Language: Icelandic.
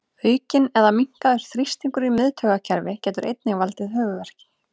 Aukinn eða minnkaður þrýstingur í miðtaugakerfi getur einnig valdið höfuðverk.